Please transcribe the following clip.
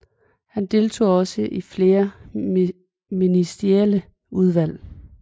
Han deltog også i flere ministerielle udvalg